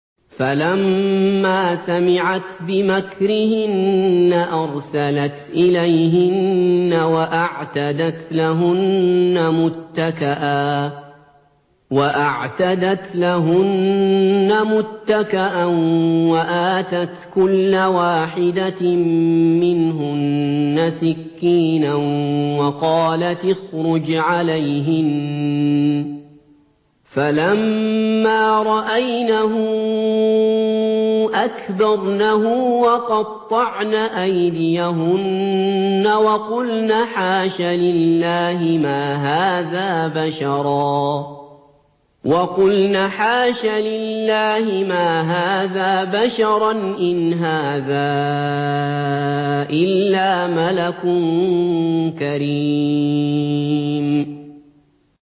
فَلَمَّا سَمِعَتْ بِمَكْرِهِنَّ أَرْسَلَتْ إِلَيْهِنَّ وَأَعْتَدَتْ لَهُنَّ مُتَّكَأً وَآتَتْ كُلَّ وَاحِدَةٍ مِّنْهُنَّ سِكِّينًا وَقَالَتِ اخْرُجْ عَلَيْهِنَّ ۖ فَلَمَّا رَأَيْنَهُ أَكْبَرْنَهُ وَقَطَّعْنَ أَيْدِيَهُنَّ وَقُلْنَ حَاشَ لِلَّهِ مَا هَٰذَا بَشَرًا إِنْ هَٰذَا إِلَّا مَلَكٌ كَرِيمٌ